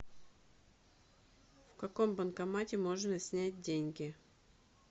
в каком банкомате можно снять деньги